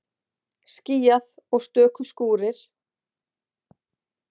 Skýjað og stöku skúrir